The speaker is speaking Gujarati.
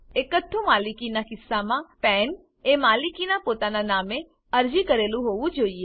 એકહથ્થુ માલિકીનાં કિસ્સામાં પાન પેન એ માલિકનાં પોતાના નામે અરજી કરેલ હોવું જોઈએ